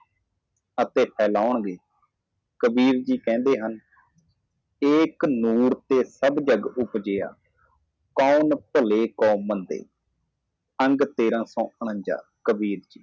ਅਤੇ ਫੈਲ ਜਾਵੇਗਾ ਕਬੀਰ ਜੀ ਬੋਲਦੇ ਹਨ ਇੱਕ ਪ੍ਰਕਾਸ਼ ਤੋਂ ਸਾਰਾ ਸੰਸਾਰ ਪੈਦਾ ਹੁੰਦਾ ਹੈ ਕੌਣ ਚੰਗਾ ਕੌਣ ਮਾੜਾ ਅੰਗ ਤੇਰਾ ਕਿਉ ਸੰਜਾ